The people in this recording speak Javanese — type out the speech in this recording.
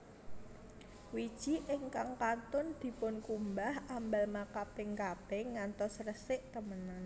Wiji ingkang kantun dipunkumbah ambal makaping kaping ngantos resik temenan